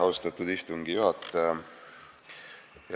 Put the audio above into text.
Austatud istungi juhataja!